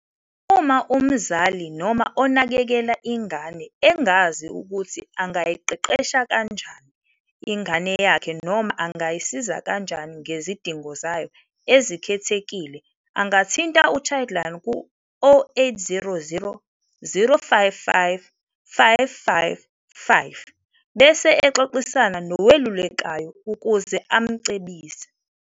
Uma umzali noma onakekela ingane engazi ukuthi angayiqeqesha kanjani ingane yakhe noma angayisiza kanjani ngezidingo zayo ezikhethekile angathinta u-Childline ku- 0800 055 555 bese exoxisana nowelulekayo ukuze amcebise.